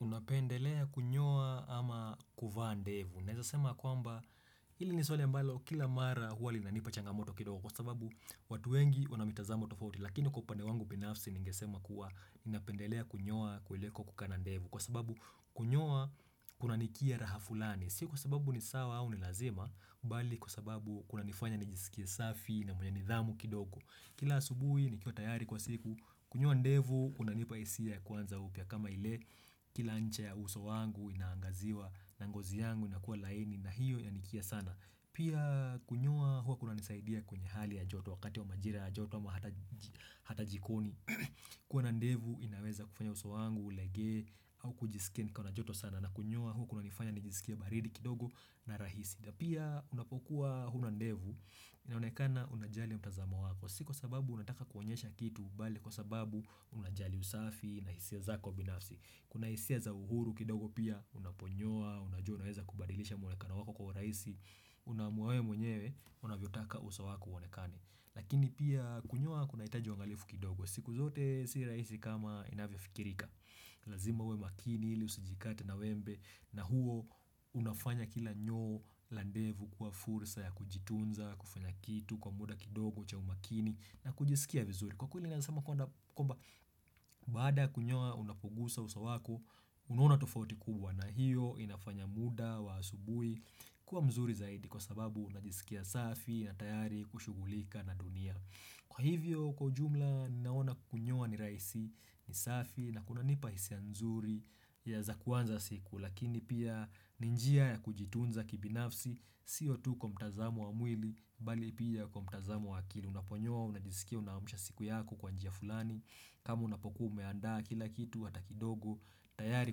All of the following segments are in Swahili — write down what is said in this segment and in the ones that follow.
Unapendelea kunyoa ama kuvaa ndevu. Naeza sema ya kwamba ili ni swali ambalo kila mara huwa linanipa changamoto kidoko kwa sababu watu wengi wanamitazamo tofauti. Lakini kwa upande wangu binafsi ningesema kuwa ninapendelea kunyoa kuliko kukaa na ndevu. Kwa sababu kunyoa kunanikia raha fulani. Si kwa sababu ni sawa au ni lazima, bali kwa sababu kunanifanya nijisikie safi na mwenye nidhamu kidogo. Kila asubuhi nikiwa tayari kwa siku kunyoa ndevu unanipa hisia ya kuanza upya kama ile kila ncha ya uso wangu inaangaziwa na ngozi yangu inakuwa laini na hiyo yanikia sana. Pia kunyoa huwa kunanisaidia kwenye hali ya joto wakati wa majira ya joto ama hata jikoni. Kuwa na ndevu inaweza kufanya uso wangu ulegee au kujisikia nikiwa na joto sana na kunyoa huwa kunanifanya nijisikie baridi kidogo na rahisi. Pia unapokuwa huna ndevu, inaonekana unajali mtazama wako, si kwa sababu unataka kuonyesha kitu, bali kwa sababu unajali usafi na hisia zako binafsi Kuna hisia za uhuru kidogo pia, unaponyoa, unajua unaweza kubadilisha mwonekano wako kwa raisi, unaamuwa we mwenyewe, unavyotaka uso wako uonekane Lakini pia kunyoa kunahitaja uangalifu kidogo, siku zote si raisi kama inavyo fikirika Lazima uwe makini ili usijikate na wembe na huo unafanya kila nyoo la ndevu kuwa fursa ya kujitunza, kufanya kitu kwa muda kidogo cha umakini na kujisikia vizuri Kwa kweli naeza sema kwamba kwamba baada ya kunyoa unapogusa uso wako unuona tofauti kubwa na hiyo inafanya muda wa asubui kuwa mzuri zaidi kwa sababu najisikia safi na tayari kushughulika na dunia Kwa hivyo kwa ujumla naona kunyoa ni raisi ni safi na kunanipa hisia nzuri ya za kuanza siku lakini pia ni njia ya kujitunza kibinafsi sio tu kwa mtazamo wa mwili bali pia kwa utazamo wa akili unaponyoa unajisikia unaamusha siku yako kwa njia fulani ama unapokua umeandaa kila kitu hata kidogo tayari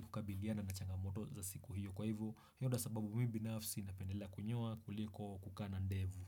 kukabiliana na changamoto za siku hiyo kwa hivyo ndivyo sababu mi binafsi napendelea kunyoa kuliko kukaa na ndevu.